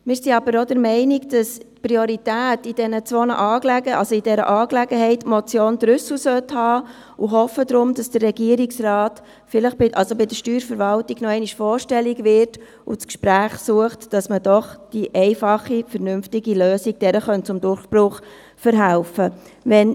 Wir sind aber auch der Meinung, dass in dieser Angelegenheit die Motion Trüssel Priorität haben sollte und hoffen darum, dass der Regierungsrat bei der Steuerverwaltung noch einmal vorstellig wird und das Gespräch sucht, damit man der einfachen, vernünftigen Lösung zum Durchbruch verhelfen kann.